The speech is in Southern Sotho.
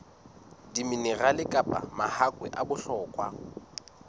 diminerale kapa mahakwe a bohlokwa